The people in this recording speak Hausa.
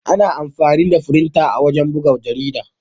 Ana amfani da firinta wajen buga jarida.